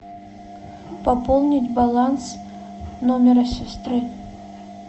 пополнить баланс номера сестры